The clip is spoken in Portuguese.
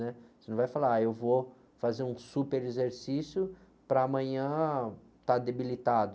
né? Você não vai falar, sh, eu vou fazer um super exercício para amanhã estar debilitado.